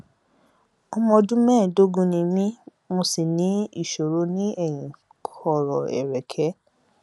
ọmọ ọdún mẹẹẹdógún ni mí mo sì ní ìṣòro ní eyín kọrọ ẹrẹkẹ